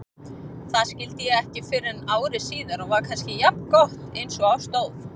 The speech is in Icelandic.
Það skildi ég ekki fyrren ári síðar og var kannski jafngott einsog á stóð.